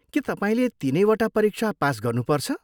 के तपाईँले तिनैवटा परीक्षा पास गर्नुपर्छ?